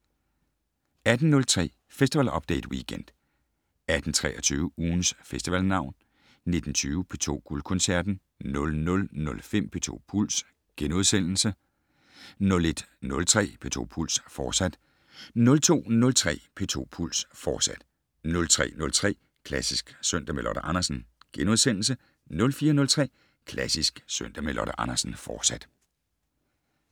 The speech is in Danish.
18:03: Festival Update Weekend 18:23: Ugens Festivalnavn 19:20: P2 Guldkoncerten 00:05: P2 Puls * 01:03: P2 Puls, fortsat 02:03: P2 Puls, fortsat 03:03: Klassisk søndag med Lotte Andersen * 04:03: Klassisk søndag med Lotte Andersen, fortsat